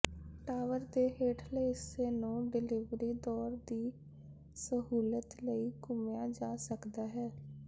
tower ਦੇ ਹੇਠਲੇ ਹਿੱਸੇ ਨੂੰ ਡਿਲਿਵਰੀ ਦੌਰ ਦੀ ਸਹੂਲਤ ਲਈ ਘੁੰਮਾਇਆ ਜਾ ਸਕਦਾ ਹੈ